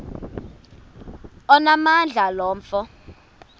onamandla lo mfo